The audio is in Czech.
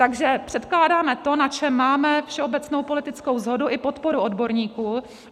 Takže předkládáme to, na čem máme všeobecnou politickou shodu i podporu odborníků.